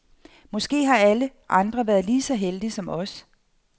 Måske har alle andre været lige så heldige som os.